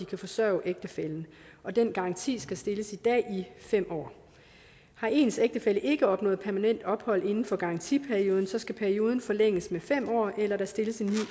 kan forsørge ægtefællen den garanti skal stilles i dag fem år har ens ægtefælle ikke opnået permanent ophold inden for garantiperioden skal perioden forlænges med fem år eller der stilles en